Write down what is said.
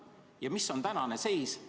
Ja mis on tänane seis?